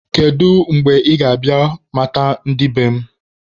Kedu mgbe ị ga-abịa ị mata ndị be m?